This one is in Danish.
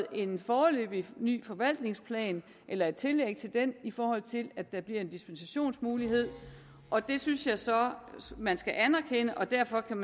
en foreløbig ny forvaltningsplan eller et tillæg til den i forhold til at der bliver en dispensationsmulighed og det synes jeg så at man skal anerkende og derfor kan